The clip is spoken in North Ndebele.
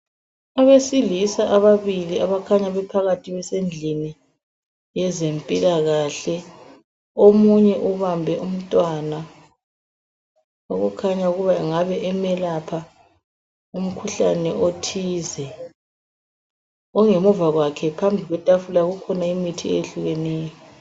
Abeselisa ababili abakhanya bephakathi besendlini yezempilakahle. Omunye ubambe umntwana okukhanya ukuba engabe emelapha umkhuhlane othize. Ongemuva kwakhe phambi kwetafula kukhona imithi eyehlukeneyo.